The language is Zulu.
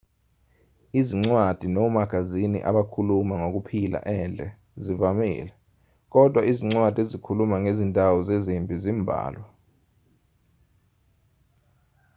izincwadi nomagazini abakhuluma ngokuphila endle zivamile kodwa izincwadi ezikhuluma ngezindawo zezimpi zimbalwa